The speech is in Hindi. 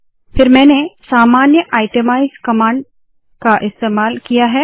फिर मैंने सामान्य आइटमाइज़ कमांड का इस्तेमाल किया है